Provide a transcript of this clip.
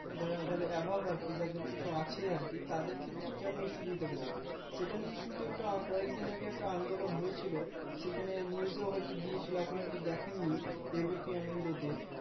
যারা যারা Above কি যাদের কিছু আছে আর কি তাদের ক্ষেত্রে কেমন সুবিধাটা দেবে সেটা নিয়ে কিন্তু একটা কয়েক দিন আগে আন্দোলন হয়েছিল সেখানে News এ হয় তো দিয়েছিলো আপনি হয় তো দেখান নি ABP আনন্দতে